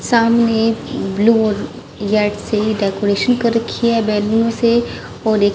सामने ब्लू और यट से डेकोरेशन कर रखी है बैलून से और एक--